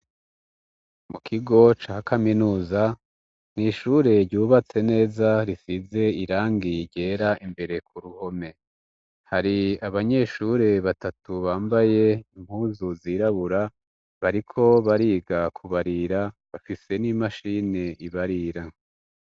Mu kigo ca Kaminuza ntishure ryubatse neza rifize irangi ryera imbere ku ruhome hari abanyeshure batatu bambaye impuzu zirabura bariko bariga kubarira bafise n'imashini ibarira.